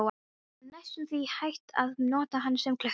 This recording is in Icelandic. Það var næstum því hægt að nota hana sem klukku.